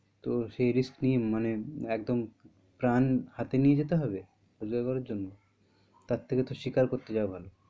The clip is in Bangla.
তো সেই risk নিয়ে একদম প্রাণ হাতে নিয়ে যেতে হবে রোজকার করার জন্য? তার থেকে তো শিকার করতে যাওয়া ভালো।